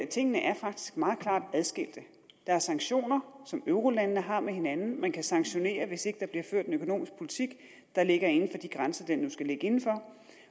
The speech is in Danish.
tingene er faktisk meget klart adskilte der er sanktioner som eurolandene har med hinanden man kan sanktionere hvis ikke der bliver ført en økonomisk politik der ligger inden for de grænser den nu skal ligge inden for